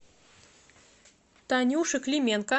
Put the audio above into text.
танюше клименко